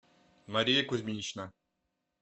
мария кузьминична